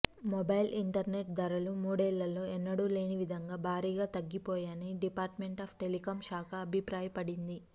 mobile internet ధరలు మూడేళ్ళలో ఎన్నడూలేని విధంగా భారీగా తగ్గిపోయాయని డిపార్ట్మెంట్ ఆఫ్ టెలికం శాఖ అబిప్రాయపడింది